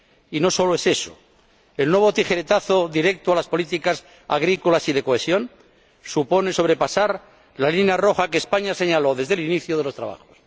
Y no solo es eso el nuevo tijeretazo directo a las políticas agrícolas y de cohesión supone sobrepasar la línea roja que España señaló desde el inicio de los trabajos.